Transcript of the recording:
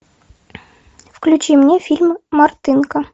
включи мне фильм мартынка